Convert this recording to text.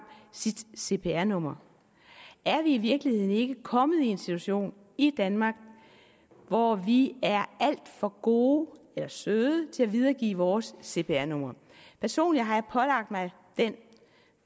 sit cpr nummer er vi i virkeligheden ikke kommet i en situation i danmark hvor vi er alt for gode eller søde til at videregive vores cpr numre personligt har jeg pålagt mig